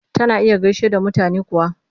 Tana iya gaishe da mutane kuwa?